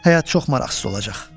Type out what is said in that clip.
Həyat çox maraqsız olacaq.